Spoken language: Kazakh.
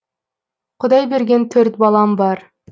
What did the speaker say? құдай берген төрт балам бар